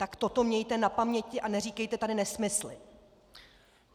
Tak toto mějte na paměti a neříkejte tady nesmysly!